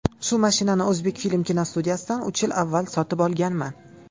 Shu mashinani ‘O‘zbekfilm’ kinostudiyasidan uch yil avval sotib olganman.